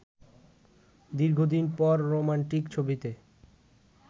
র্দীঘদিন পর রোমান্টিক ছবিতে